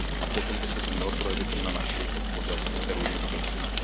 A potom by se to mělo projevit i na naší podpoře, kterou jim adresujeme.